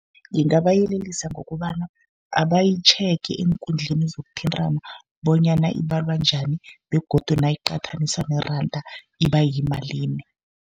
Ngingabayelelisa ngokobana abayitjhege eenkundleni zokuthintana, bonyana ibalwa njani begodu nayiqathaniswa neranda iba yimalini.